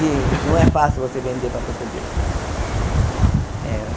E não é fácil você vender para português. Eh